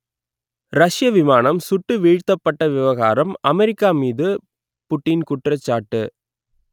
ரஷ்ய விமானம் சுட்டு வீழ்த்தப்பட்ட விவகாரம் அமெரிக்கா மீது புடீன் குற்றச்சாட்டு